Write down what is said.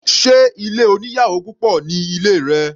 Sé ilé oníyàwò púpọ̀ ní ilé rẹ?